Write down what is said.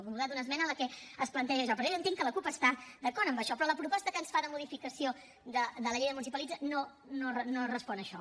ha votat una esmena en la que es planteja això però jo entenc que la cup està d’acord en això però la proposta que ens fa de modificació de la llei de municipalització no respon a això